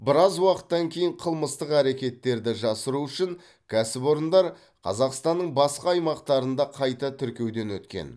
біраз уақыттан кейін қылмыстық әрекеттерді жасыру үшін кәсіпорындар қазақстанның басқа аймақтарында қайта тіркеуден өткен